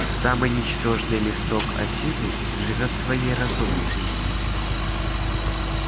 самый ничтожный листок осины живёт своей разумной жизнью